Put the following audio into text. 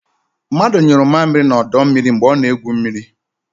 Mmadu nyuru mmamịrị n'ọdọ mmiri mgbe ọ na-egwu mmiri.